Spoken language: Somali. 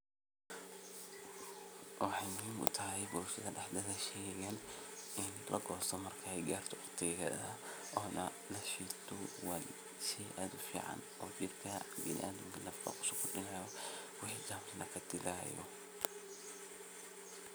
Waxey muhiim utahay bulshada dhexdeda sheygan in wati lagosto ey garto ona lashito wa shey aad umacan oo jirka biniadanka wax kusokordinayo wixi jermis kadilayo.